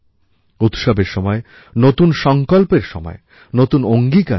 উৎসবের সময় নতুন সংকল্পের সময় নতুন অঙ্গীকারের সময়